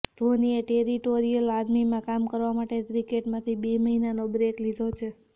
ધોનીએ ટેરિટોરિયલ આર્મીમાં કામ કરવા માટે ક્રિકેટમાંથી બે મહિનાનો બ્રેક લીધો છે